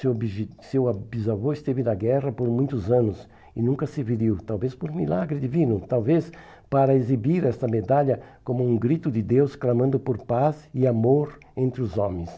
Seu seu bisavô esteve na guerra por muitos anos e nunca se feriu, talvez por um milagre divino, talvez para exibir essa medalha como um grito de Deus clamando por paz e amor entre os homens.